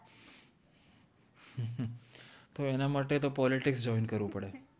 તો એન માટે તો પોલિતિક્સ join કર્વુ પદે